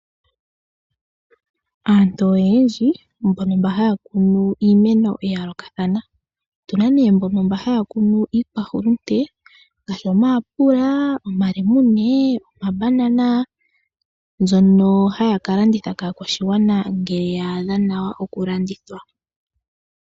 Aantu oyendji mboka haya kunu iimeno ya yoolokatha, otuna ne mboka haya kunu iikwahulunde ngashi omayapula, omalemune, omambanana, mbyoka hayi ka landithwa kaakwashigwana, nge yadha nawa oku landithwa.